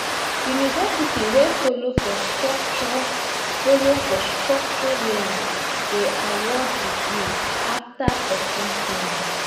university wey follow for structured follow for structured learning dey award degree after person finish